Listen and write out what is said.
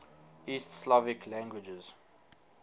east slavic languages